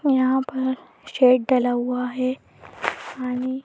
यहां पर शेड डला हुआ हैपानी--